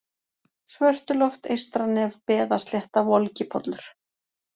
Svörtuloft, Eystranef, Beðaslétta, Volgipollur